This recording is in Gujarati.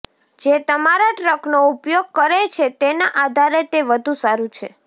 જે તમારા ટ્રકનો ઉપયોગ કરે છે તેના આધારે તે વધુ સારું છે